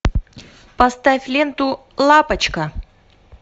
поставь ленту лапочка